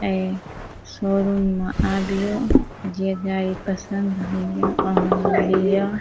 ऐ शो-रूम में आबीयो जे गाड़ी पसंद होइहे वहाँ लागिया।